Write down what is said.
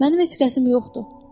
Mənim heç qəsim yoxdur.